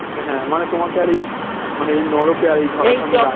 হ্যাঁ মানে তোমাকে আর এই মানে এই নরকে